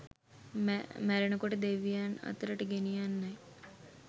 මැරෙන කොට දෙවියන් අතරට ගෙනියන්නයි.